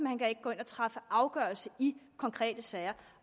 han kan ikke gå ind og træffe afgørelse i konkrete sager